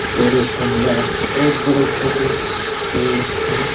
और एक खंभा बहुत बड़े छोटे पेड़ है।